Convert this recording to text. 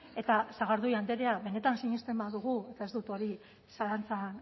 eta sagardui andrea benetan sinisten badugu eta ez dut hori zalantzan